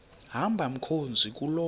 hamba mkhozi kuloo